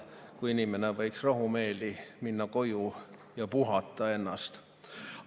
Ometi inimene võiks rahumeeli minna koju ja puhata ennast välja.